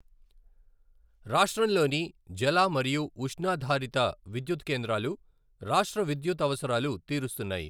రాష్ట్రంలోని జల మరియు ఉష్ణాధారిత విద్యుత్ కేంద్రాలు రాష్ట్ర విద్యుత్ అవసరాలు తీరుస్తున్నాయి.